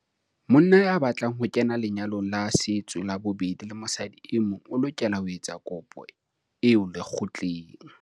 Monna ya batlang ho kena lenyalong la setso la bobedi le mosadi e mong o lokela ho etsa kopo eo lekgotleng.